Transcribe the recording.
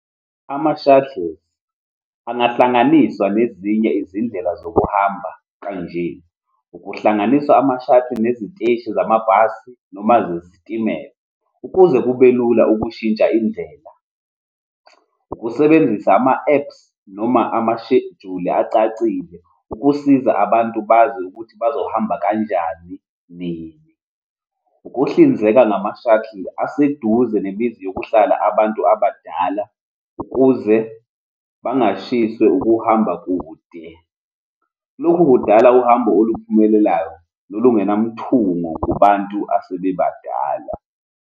Ama-shuttles angahlanganiswa nezinye izindlela zokuhamba kanje, ukuhlanganiswa ama-shuttle neziteshi zamabhasi, noma zezitimela, ukuze kube lula ukushintsha indlela. Ukusebenzisa ama-apps noma amashejuli acacile ukusiza abantu bazi ukuthi bazohamba kanjani, nini. Ukuhlinzeka ngama-shuttle aseduze nemizi okuhlala abantu abadala, ukuze bangashishwa ukuhamba kude. Lokhu kudala uhambo oluphumelelayo nolungenamthungo kubantu asebebadala.